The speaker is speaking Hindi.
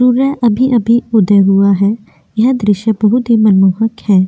सूर्य अभी-अभी उदय हुआ है यह दृश्य बहुत ही मनमोहक हैं।